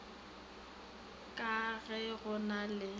le ge go na le